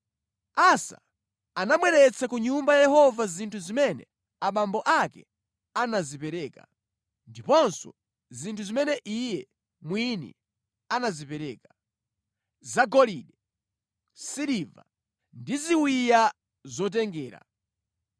Asa anabweretsa ku Nyumba ya Yehova zinthu zimene abambo ake anazipereka, ndiponso zinthu zimene iye mwini anazipereka: zagolide, siliva ndi ziwiya zotengera.